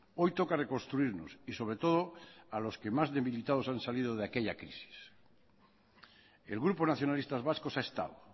hoy toca reconstruirnos y sobre todo a los que más debilitados han salido de aquella crisis el grupo nacionalistas vascos ha estado